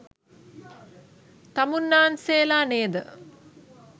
තමුන්නාන්සේලා නේද?